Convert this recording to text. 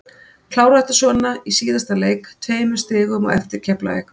Klára þetta svona í síðasta leik, tveimur stigum á eftir Keflavík.